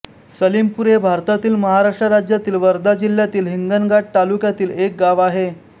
सलीमपूर हे भारतातील महाराष्ट्र राज्यातील वर्धा जिल्ह्यातील हिंगणघाट तालुक्यातील एक गाव आहे